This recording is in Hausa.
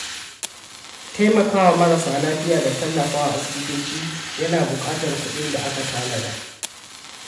Taimaka wa marasa lafiya da tallafa wa asibitoci yana buƙatar kuɗin da aka tanada.